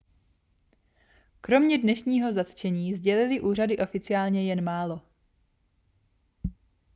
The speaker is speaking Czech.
kromě dnešního zatčení sdělily úřady oficiálně jen málo